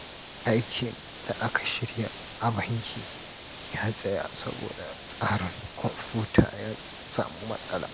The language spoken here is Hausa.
Aikin da aka shirya a banki ya tsaya saboda tsarin kwamfuta ya samu matsala.